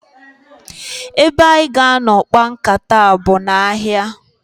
Ebe anyị ga-anọ kpaa nkata a bụ n'ahịa.